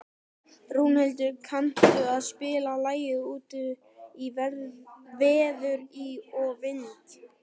Rúnhildur, kanntu að spila lagið „Út í veður og vind“?